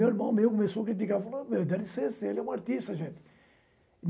Meu irmão mesmo começou a criticar, falando que era de ser, ele era um artista gente.